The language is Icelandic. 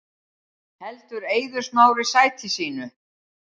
Heldur Eiður Smári sæti sínu